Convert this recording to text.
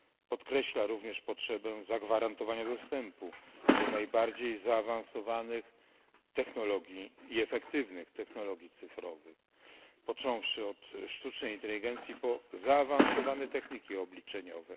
Podkreśla również potrzebę zagwarantowania dostępu do najbardziej zaawansowanych technologii i efektywnych technologii cyfrowych, począwszy od sztucznej inteligencji po zaawansowane techniki obliczeniowe.